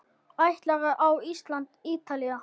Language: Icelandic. Ætlarðu á Ísland- Ítalía?